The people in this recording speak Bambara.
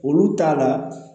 Olu t'a la